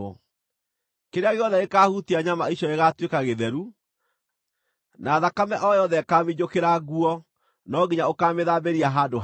Kĩrĩa gĩothe gĩkaahutia nyama icio gĩgaatuĩka gĩtheru, na thakame o yothe ĩkaaminjũkĩra nguo no nginya ũkaamĩthambĩria handũ hatheru.